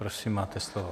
Prosím, máte slovo.